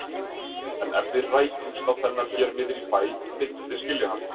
En ef við rækjumst á þennan hér niðri í bæ, myndum við skilja hann?